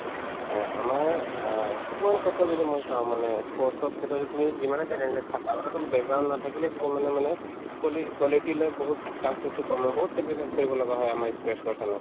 এহ্, আমাৰ অ কিছুমান ক্ষেত্ৰত যদি মই চাও মানে ই sports ৰ ক্ষেত্ৰত যদি তুমি যিমানে talent নেথাকক তথাপিও background নাথাকিলেও কিছুমানে মানে quasi ~ quality লৈ বহুত surface তো কম হয় বহুত sacrifice কৰি লগা হয় আমাৰ ই sports person ক